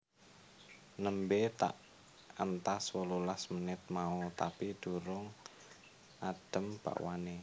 Nembe tak entas wolulas menit mau tapi durung adem bakwane